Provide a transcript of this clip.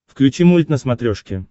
включи мульт на смотрешке